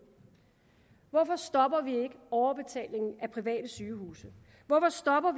hvorfor stopper vi ikke overbetalingen af private sygehuse hvorfor stopper